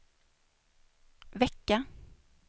vecka